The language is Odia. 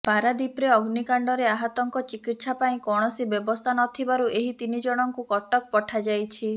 ପାରାଦୀପରେ ଅଗ୍ନିକାଣ୍ଡରେ ଆହତଙ୍କ ଚିକିତ୍ସା ପାଇଁ କୌଣସି ବ୍ୟବସ୍ଥା ନ ଥିବାରୁ ଏହି ତିନି ଜଣଙ୍କୁ କଟକ ପଠାଯାଇଛି